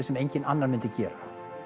sem einhver annar myndi gera